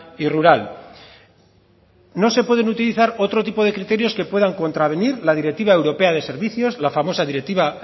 y rural no se pueden utilizar otro tipo de criterios que puedan contravenir la directiva europea de servicios la famosa directiva